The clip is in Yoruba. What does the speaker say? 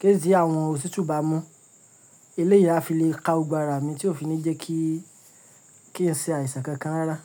kèsí àwọn òtítù bá mú. Eléyà fi le ka ogbara mi tí ó fi ní jẹ́ kí í ṣe àìsàn kankan rárá.